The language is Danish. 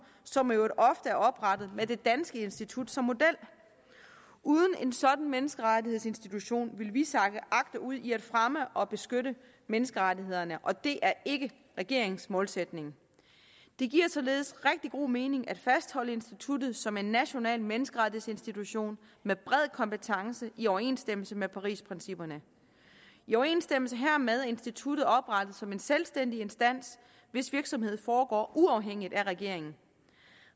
som i øvrigt ofte er oprettet med det danske institut som model uden en sådan menneskerettighedsinstitution ville vi sakke agterud i at fremme og beskytte menneskerettighederne og det er ikke regeringens målsætning det giver således rigtig god mening at fastholde instituttet som en national menneskerettighedsinstitution med bred kompetence i overensstemmelse med parisprincipperne i overensstemmelse hermed er instituttet oprettet som en selvstændig instans hvis virksomhed foregår uafhængigt af regeringen